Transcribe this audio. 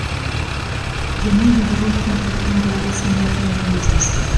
геннадий головкин қарағанды облысының әкімімен кездесті